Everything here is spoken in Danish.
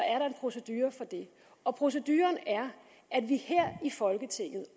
er der en procedure for det og proceduren er at vi her i folketinget